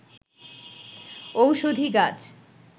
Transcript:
ঔষধি গাছ